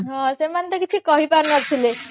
ହଁ ସେମାନେ ତ କିଛି କହିପାରୁ ନଥିଲେ